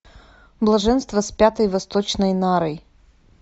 блаженство с пятой восточной нарой